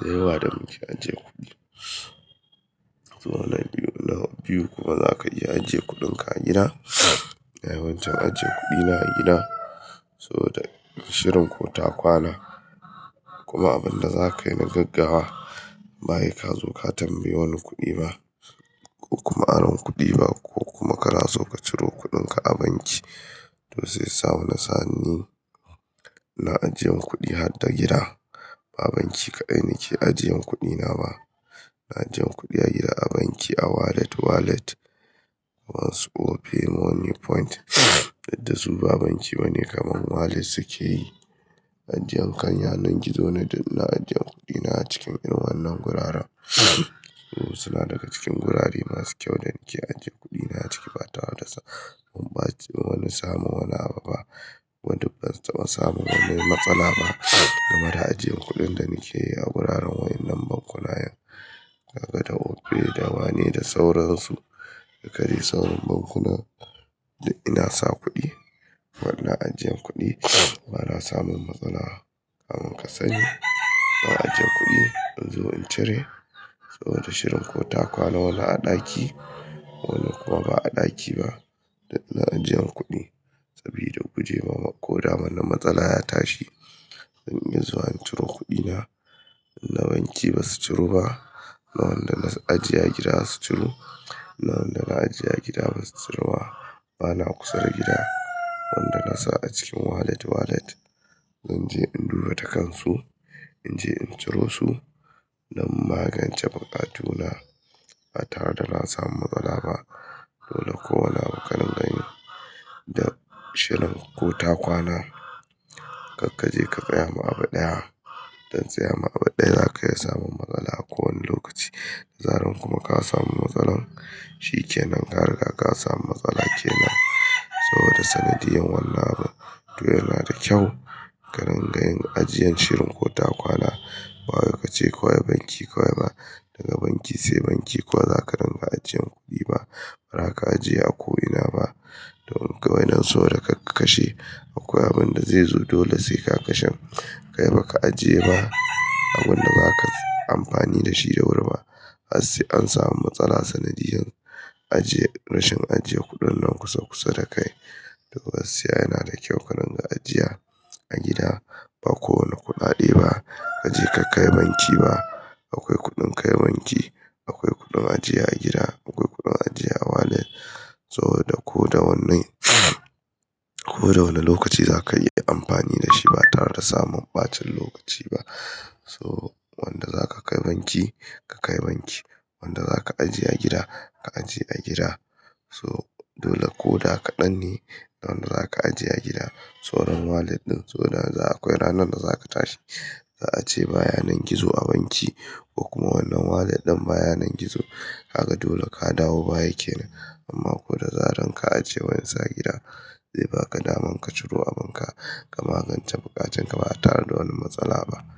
da yawa da muke ajiye kuɗi. So na biyu kuma za ka iya ajiye kuɗinka a gida, dai wancan ajiyan kuɗi na gida. So da shirin ko ta kwana, kuma abin da za ka yi na gaggawa ba yi ka zo ka tambayi wani kuɗi ba, ko kuma aron kuɗi ba, ko kuma ka na so ka ciro kuɗinka a banki. To sai ya samu nasani, na ajiyan kuɗi har da gida, ba banki kaɗai nake ajiyan kuɗi na ba. Na ajiye kuɗi a gida, a banki, a wallet, wallet, wani su Opay, Money Point to dai su ba banki ba ne kaman wallet suke yi. Ajiyan kan yanar gizo na, na ajiye kuɗi na a cikin inu wannan guraren, suna daga cikin gurare masu kyau da nake ajiye kuɗi na a ciki ba tare da ba wani samu wani abu ba. Ban samu wani matsala ba game da ajiyan kuɗin da nake yi a guraren wayan nan bankuna. Kaga Opay da wane da sauransu, ka kairi saurin bankunan duk ina sa kuɗi. Wannan ajiyan kuɗi bana samun matsala, kaman ka sani, na ajiye kuɗi in zo in cire. So da shirin ko ta kwana wani a ɗaki, wani kuma ba a ɗaki ba, na ajiyan kuɗi sabida gujewa ko dama na matsala ya tashi in yi zuwa in ciro kuɗi na. Na banki ba su ciro ba, na wanda na ajiye a gida su ciro. Na wanda na ajiye a gida ba su ciro ba. Bana kusa da gida, wanda na sa a cikin wallet, wallet. Zan je in duba ta kansu, in je in ciro su don magance buƙatu na ba tare da na samu matsala ba. Dole ko wani abu ka rinƙa yi da shirin ko ta kwana, kar ka je ka tsaya ma abu ɗaya. Dan tsaya ma abu ɗaya za ka iya samun matsala a kowane lokaci. Da zaran kuma ka samu matsala, shi ke nan haka da ka samu matsala ke nan. So da sanadiyan wannan abu to yana da kyau ka rinƙa yin ajiyan shirin ko ta kwana. Wa yace kowa ya banki kawai ba, daga banki sai banki kawai za ka rinƙa ajiyan kuɗi ba. Bara ka ajiye a ko ina ba, to kawai nan so da ka kashe akwai abin da zai zo dole sai ka kashen. Kai baka ajiye ba abun da za ka yi amfani da shi da wuri ba. Har sai an samu matsala sanadiyar ajiye, rashin ajiye kuɗin nan kusa kusa da kai. To gaskiya yana da kyau ka rinƙa ajiya a gida ba kowane kuɗaɗe ba. Kaje ka kai banki ba. Akwai kuɗin kai banki, akwai kuɗin ajiye a gida, akwai kuɗin ajiye a wallet. So da ko da wanne ko da wane lokaci za ka yi amfani da shi ba tare da samun ɓacin lokaci ba. So wanda za ka kai banki, ka kai banki. Wanda za ka ajiye a gida, ka ajiye a gida. So dole ko da kaɗan ne, na wanda za ka ajiye a gida. Soron wallet ɗin, so da akwai ranar da za ka tashi za a ce ba yanar gizo a banki ko kuma wannan wallet ɗin ba yanar gizo. Haka dole ka dawo baya kenan. Amma ko da zaran ka ajiye wansa a gida, sai baka naman ka ciro abun ka, ka magance buƙaƙen ka ba tare da wani matsala ba.